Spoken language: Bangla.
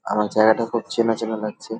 আমার জায়গাটা খুব চেনা চেনা লাগছে ।